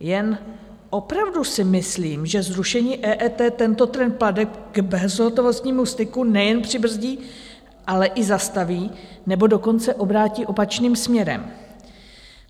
Jen opravdu si myslím, že zrušení EET tento trend plateb k bezhotovostnímu styku nejen přibrzdí, ale i zastaví, nebo dokonce obrátí opačným směrem.